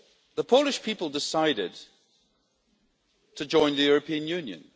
The Polish people decided to join the European Union.